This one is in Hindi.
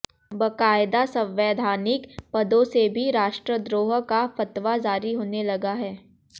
बाकायदा संवैधानिक पदों से भी राष्ट्रद्रोह का फतवा जारी होने लगा है